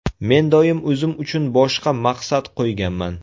Men doim o‘zim uchun boshqa maqsad qo‘yganman.